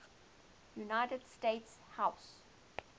united states house